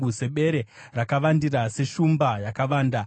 Sebere rakavandira, seshumba yakavanda,